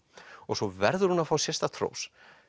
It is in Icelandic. svo verður hún að fá sérstakt hrós